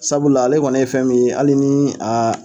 Sabula ale kɔni ne ye fɛn min ye ali ni a